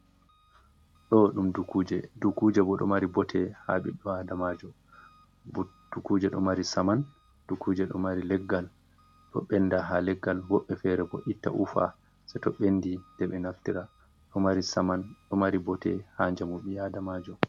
Ɗo ɗum dukuje, dukuje bo ɗo mari bote ha ɓiɗɗo adamajo bo dukuje ɗo mari saman, dukkuje ɗo mari leggal ɗo ɓenda ha leggal woɓɓe fere bo itta ufa se to ɓendi nde ɓe naftira, ɗomari saman ɗo mari bote ha jamu ɓi adamajo.